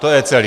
To je celý.